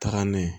Taga n'a ye